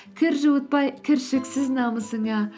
кір жуытпай кіршіксіз намысыңа